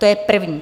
To je první.